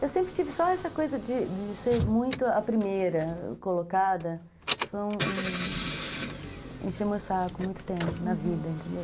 Eu sempre tive só essa coisa de de ser muito a primeira colocada, que foi um um... Encheu o saco muito tempo na vida, entendeu?